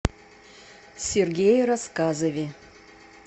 сергее рассказове